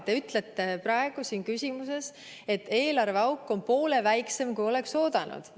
Te ütlesite praegu siin küsides, et eelarveauk on poole väiksem, kui oleks oodanud.